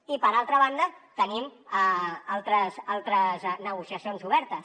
i per altra banda tenim altres negociacions obertes